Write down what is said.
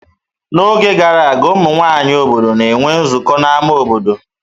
N'oge gara aga, ụmụ nwanyị obodo na-enwe nzukọ ha n'ámá obodo.